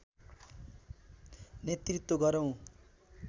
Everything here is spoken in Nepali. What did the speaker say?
नेतृत्व गरौं